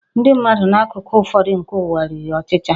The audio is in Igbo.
Ndị mmadụ n'akụkụ ụfọdụ nke ụwa riri ọchịcha